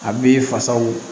A b'i fasaw